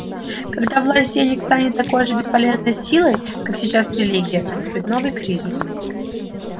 когда власть денег станет такой же бесполезной силой как сейчас религия наступит новый кризис